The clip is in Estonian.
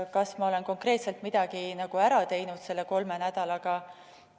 Kas ma olen konkreetselt midagi ära teinud selle kolme nädalaga?